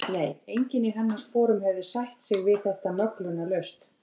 Nei, enginn í hennar sporum hefði sætt sig við þetta möglunarlaust.